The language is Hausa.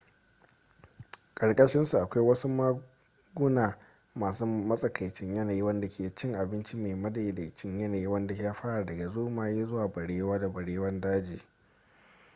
karkashin su akwai wasu maguna masu matsakaicin yanayi wadanda ke cin abinci mai madaidaicin yanayi wanda ya fara daga zomaye zuwa barewa da barewan daji